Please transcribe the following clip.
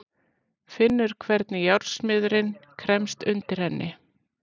Finnur hvernig járnsmiðurinn kremst undir henni.